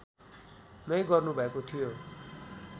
नै गर्नुभएको थियो